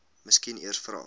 miskien eers vra